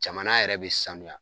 Jamana yɛrɛ be sanuya